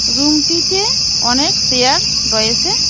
রুমটিতে অনেক সেয়ার রয়েসে ।